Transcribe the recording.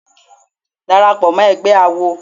Dàràpọ̀ mọ́ ẹgbẹ́ àwo.